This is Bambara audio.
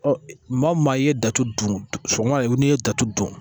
Ɔ maa o maa i ye datu don sɔgɔma yɛrɛ n'i ye datugu dun